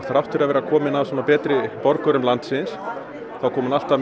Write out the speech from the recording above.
þrátt fyrir að vera komin af betri borgurum landsins kom hún alltaf